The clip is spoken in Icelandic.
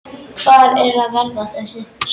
Hvar er varða þessi?